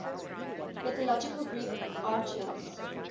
mythological greek archers